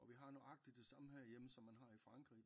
Og vi har nøjagtig det samme her hjemme som man har i Frankrig